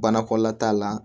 Banakɔla t'a la